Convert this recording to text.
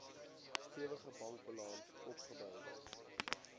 stewige bankbalans opgebou